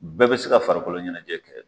Bɛɛ be se ka farikoloɲɛnɛjɛ kɛ